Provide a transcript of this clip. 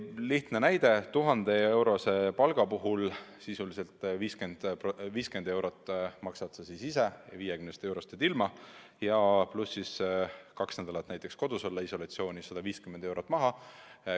Lihtne näide: 1000-eurose palga puhul sisuliselt 50 eurot maksad sa ise – 50 eurost jääd ilma – ja pluss kaks nädalat näiteks kodus isolatsioonis olles läheb veel 150 eurot maha.